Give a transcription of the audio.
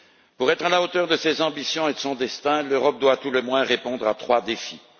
Pour être à la hauteur de ses ambitions et de son destin, l'Europe doit à tout le moins répondre à trois défis.